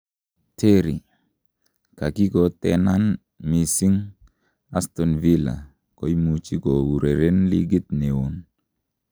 Terry: 'Kakikotenan missing ' Aston villa komaimuch koureren likit neon